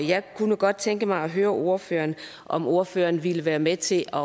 jeg kunne godt tænke mig at høre ordføreren om ordføreren ville være med til at